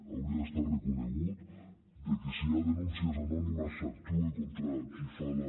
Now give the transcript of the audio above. hauria d’estar reconegut de que si hi ha denúncies anònimes s’actuï contra qui fa la